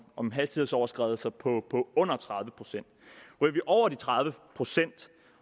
om hastighedsoverskridelser på under tredive procent ryger vi over de tredive procent